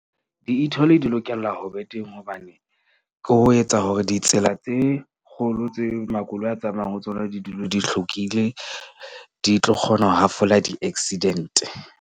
Di-e-toll-e di lokela ho be teng hobane ke ho etsa hore ditsela tse kgolo tse makoloi a tsamayang ho tsona di dule di hlwekile, di tlo kgona ho hafola di-accident-e.